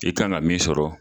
I kan ka min sɔrɔ